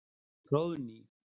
Hróðný